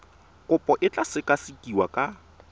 kopo e tla sekasekiwa ka